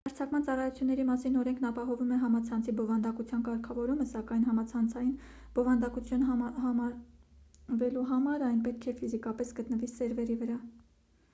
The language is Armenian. հեռարձակման ծառայությունների մասին օրենքն ապահովում է համացանցի բովանդակության կարգավորումը սակայն համացանցային բովանդակություն համարվելու համար այն պետք է ֆիզիկապես գտնվի սերվերի վրա